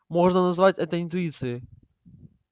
можно назвать это интуицией